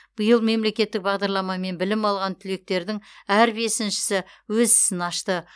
биыл мемлекеттік бағдарламамен білім алған түлектердің әр бесіншісі өз ісін ашты